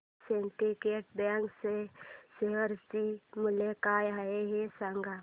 आज Syndicate Bank च्या share चे मूल्य काय आहे हे सांगा